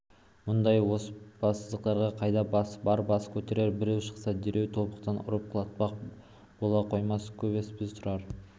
мұндай оспадарсыздық қайда бар бас көтерер біреу шықса дереу тобықтан ұрып құлатпақ бола қоймас көнбеспіз тұрар